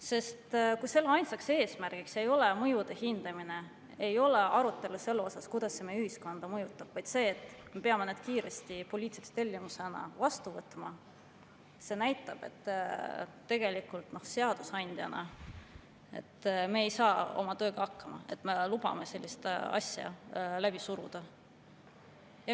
Sest kui ainsaks eesmärgiks ei ole mõjude hindamine, ei ole arutelu selle üle, kuidas see meie ühiskonda mõjutab, vaid see, et me peame need kiiresti poliitilise tellimusena vastu võtma, siis see näitab, et tegelikult seadusandjana ei saa me oma tööga hakkama, kui me lubame sellist asja läbi suruda.